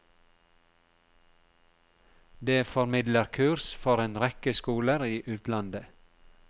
Det formidler kurs for en rekke skoler i utlandet.